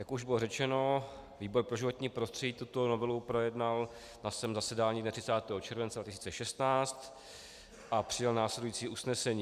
Jak už bylo řečeno, výbor pro životní prostředí tuto novelu projednal na svém zasedání dne 30. července 2016 a přijal následující usnesení.